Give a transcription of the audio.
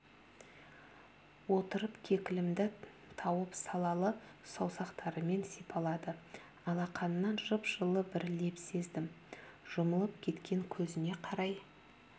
отырып кекілімді тауып салалы саусақтарымен сипалады алақанынан жып-жылы бір леп сездім жұмылып кеткен көзіне қарай